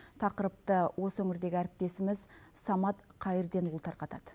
тақырыпты осы өңірдегі әріптесіміз самат қайырденұлы тарқатады